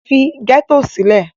Leave the ghetto! ì